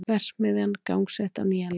Verksmiðjan gangsett á nýjan leik